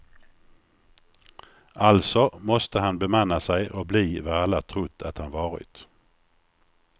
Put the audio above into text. Alltså måste han bemanna sig och bli vad alla trott att han varit.